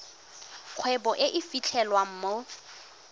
kgwebo e e fitlhelwang mo